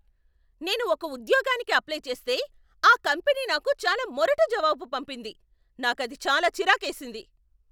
నేను ఒక ఉద్యోగానికి అప్లై చేస్తే, ఆ కంపెనీ నాకు చాలా మొరటు జవాబు పంపింది, నాకది చాలా చిరాకేసింది.